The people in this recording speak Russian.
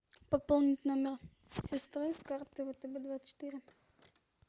пополнить номер сестры с карты втб двадцать четыре